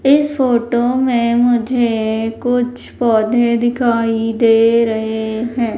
इस फोटो में मुझे कुछ पौधे दिखाई दे रहे हैं।